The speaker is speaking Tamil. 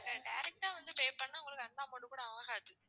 direct ஆ வந்து pay பண்ணா உங்களுக்கு அந்த amount கூட ஆகாது